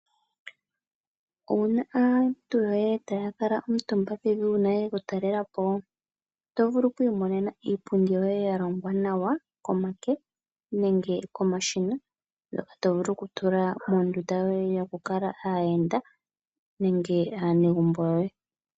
Owuna aantu yoye taya kala omutumba pevi uuna yeya okutalelapo? Oto vulu okwiimonena iipundi yoye yalongwa nawa komake nenge komashina, ngoka tovulu okutula moondunda dhoye yoye yokukala aayenda nenge aanegumbo yoye.